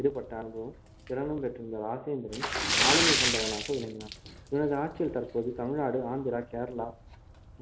ஈடுபட்ட அனுபவமும் திறனும் பெற்றிருந்த ராஜேந்திரன் ஆளுமை கொண்டவனாக விளங்கினான் இவனது ஆட்சியில் தற்போது தமிழ்நாடு ஆந்திரா கேரளா